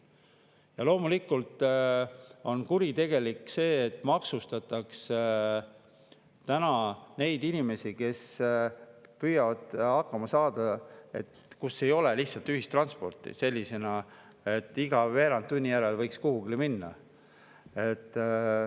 Ja loomulikult on kuritegelik see, et maksustatakse inimesi, kes püüavad hakkama saada seal, kus ei ole lihtsalt sellist ühistransporti, et iga veerand tunni järel võiks kuhugi minna.